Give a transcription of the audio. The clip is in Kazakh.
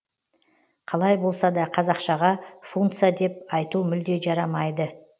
қалай болса да қазақшаға функция деп айту мүлде жарамайды